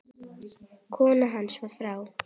Kona hans var frá